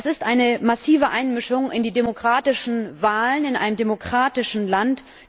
Das ist eine massive Einmischung in die demokratischen Wahlen in einem demokratischen Land.